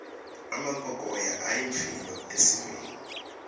emampokoya ayimphilo esiveni